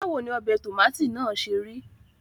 Báwo ni ọbẹ̀ tòmátì náà ṣe rí?